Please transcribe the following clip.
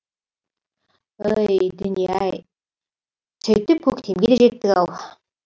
ой дүние ай сөйтіп көктемге жеттік ау